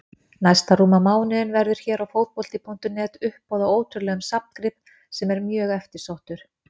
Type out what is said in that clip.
Næsta rúma mánuðinn verður hér á Fótbolti.net uppboð á ótrúlegum safngrip sem er mjög eftirsóttur.